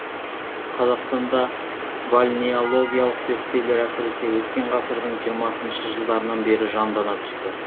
қазақстанда бальнеологиялық зерттеулер әсіресе өткен ғасырдың жиырмасыншы жылдарынан бері жандана түсті